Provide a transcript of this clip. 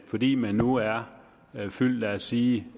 fordi man nu er fyldt lad os sige